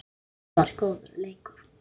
Það var góður leikur.